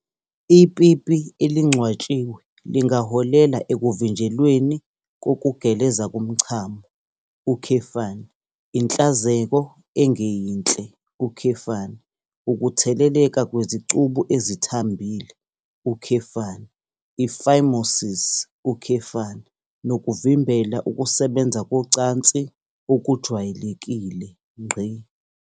Ipipi elingcwatshiwe lingaholela ekuvinjelweni kokugeleza komchamo, inhlanzeko engeyinhle, ukutheleleka kwezicubu ezithambile, i-phimosis, nokuvimbela ukusebenza kocansi okujwayelekile.